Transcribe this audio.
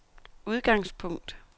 udgangspunkt